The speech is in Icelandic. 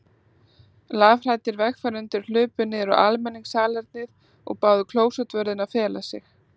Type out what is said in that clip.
Lafhræddir vegfarendur hlupu niður á almenningssalernið og báðu klósettvörðinn að fela sig.